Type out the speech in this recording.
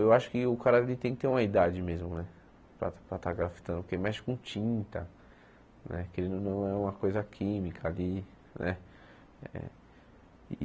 Eu acho que o cara ele tem que ter uma idade mesmo né para para estar grafitando, porque mexe com tinta, né querendo ou não é uma coisa química ali né.